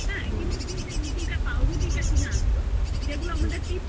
কিন্তু তুমি যে রুটি তা পাউরুটি তা কিনে আনছো যেগুলো আমাদের